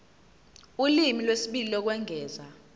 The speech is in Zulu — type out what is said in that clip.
ulimi lwesibili lokwengeza